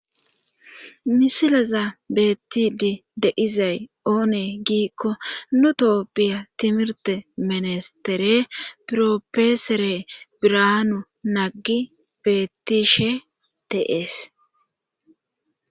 misilaza beetti dii de izay oone giikko nutooppiya timirte minestere piropeesere biranu naggi beettishe de'es